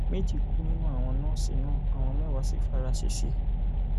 méjì kú nínú àwọn nọọsì náà àwọn mẹwàá sì fara ṣẹṣẹ